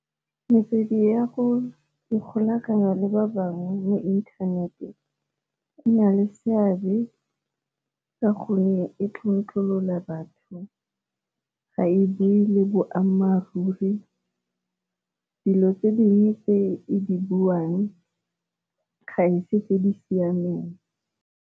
Metswedi ya go ikgolaganya le ba bangwe mo inthanete e na le seabe ka gonne e tlontlolola batho, ga e bui le boammaaruri dilo tse dingwe tse e di buang ga e se tse di siameng.